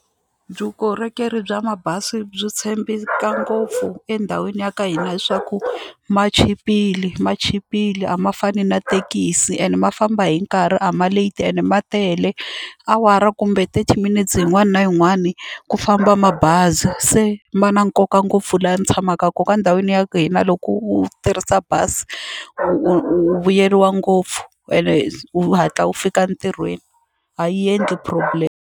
Vukorhokeri bya mabazi byi tshembeka ngopfu endhawini ya ka hina hi swa ku ma chipile ma chipile a ma fani na thekisi and ma famba hi nkarhi a ma leti ene ma tele awara kumbe thirty minutes yin'wana na yin'wani ku famba mabazi se ma na nkoka ngopfu laha ndzi tshamaka nkoka endhawini ya hina loko u tirhisa bazi u u u vuyeriwa ngopfu ene u hatla u fika entirhweni a yi endli problem.